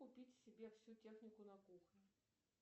купить себе всю технику на кухню